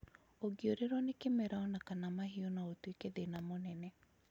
ũngi ũrĩrũo nĩ kĩmera onakana mahiu no utuîke thĩna mũnene